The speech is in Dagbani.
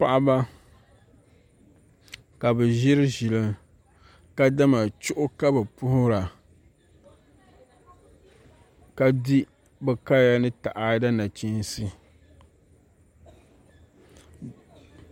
Paɣaba ka bi ʒiri ʒili ka dama chuɣu ka bi puhura ka di bi kaya ni taada nachiinsi